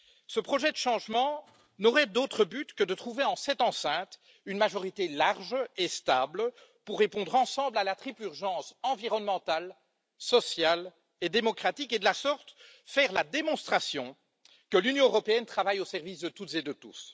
Ce projet de changements n'aurait d'autre but que de trouver, en cette enceinte, une majorité large et stable pour répondre ensemble à la triple urgence environnementale, sociale et démocratique et de la sorte, faire la démonstration que l'Union européenne travaille au service de toutes et de tous.